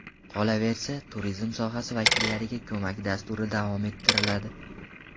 Qolaversa, turizm sohasi vakillariga ko‘mak dasturi davom ettiriladi.